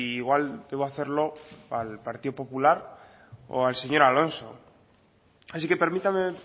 igual debo hacerlo al partido popular o al señor alonso así que permítame